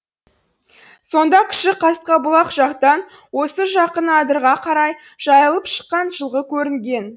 сонда кіші қасқабұлақ жақтан осы жақын адырға қарай жайылып шыққан жылқы көрінген